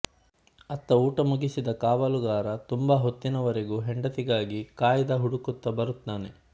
ಅತ್ತ ಊಟ ಮುಗಿಸಿದ ಕಾವಲುಗಾರ ತುಂಬಾ ಹೊತ್ತಿನವರೆಗೂ ಹೆಂಡತಿಗಾಗಿ ಕಾಯ್ದ ಹುಡುಕುತ್ತ ಬರುತ್ತಾನೆ